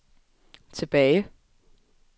tilbage